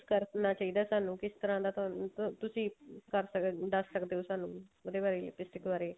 ਕਰਨਾ ਚਾਹੀਦਾ ਤੁਹਾਨੂੰ ਕਿਸ ਤਰ੍ਹਾਂ ਦਾ ਤੁਹਾਨੂੰ ਇੱਕ ਤੁਸੀਂ ਕਰ ਸਕਦੇ ਓ ਦੱਸ ਸਕਦੇ ਓ ਸਾਨੂੰ ਉਹਦੇ ਬਾਰੇ lipstick ਬਾਰੇ